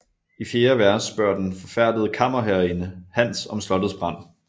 I fjerde vers spørger den forfærdede kammerherreinde Hans om slottets brand